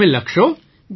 તો તમે લખશો